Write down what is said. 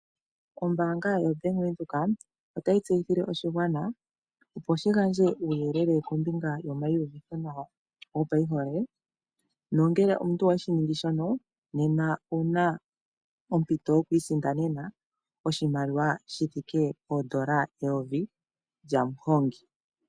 Ombaanga yo Bank Windhoek, ota yi tseyithile oshigwana opo shi gandje uuyelele kombinga yomayiyuvithonawa go payihole, nongele omuntu oweshi ningi shono nena owuna ompito yo ku isindanena oshimaliwa shithike poondola eyovi lyamuhongi.